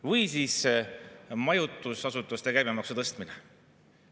Või siis majutusasutuste käibemaksu tõstmine.